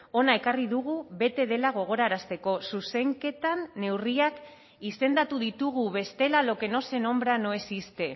hona ekarri dugu bete dela gogorarazteko zuzenketan neurriak izendatu ditugu bestela lo que no se nombra no existe